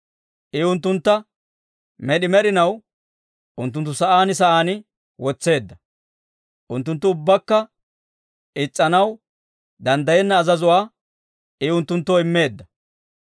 I unttuntta med'i med'inaw unttunttu sa'aan sa'aan wotseedda. Unttunttu ubbakka is's'anaw danddayenna azazuwaa I unttunttoo immeedda.